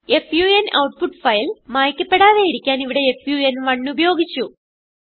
fun output file മായിക്കപ്പെടാതെയിരിക്കാൻ ഇവിടെ ഫൻ1 ഉപയോഗിച്ചു